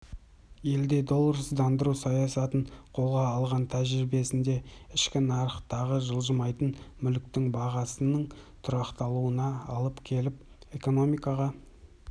елде долларсыздандыру саясатын қолға алған нәтижесінде ішкі нарықтағы жылжымайтын мүліктің бағасының тұрақталуына алып келіп экономикаға